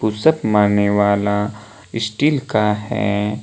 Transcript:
Push up मारने वाला steel का है।